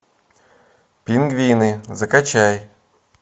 пингвины закачай